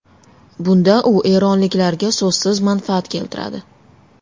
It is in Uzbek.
Bunda u eronliklarga so‘zsiz manfaat keltiradi.